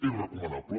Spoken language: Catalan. és recomanable